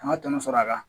An ka tɔnɔ sɔrɔ a kan